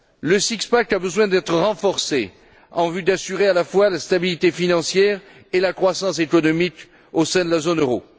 Le six pack a besoin d'être renforcé en vue d'assurer à la fois la stabilité financière et la croissance économique au sein de la zone euro.